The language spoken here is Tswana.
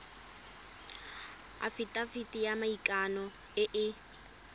afitafiti ya maikano e e